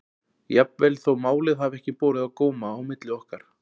Jafnvel þó málið hafi ekki borið á góma á milli okkar.